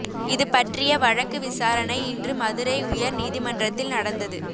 இதுபற்றிய வழக்கு விசாரணை இன்று மதுரை உயர் நீதிமன்றத்தில் நடந்தது